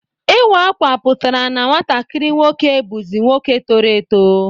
Iwa akwa pụtara na nwatakiri nwoke buzi nwoke toro eto.